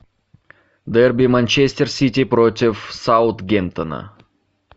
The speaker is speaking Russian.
дерби манчестер сити против саутгемптона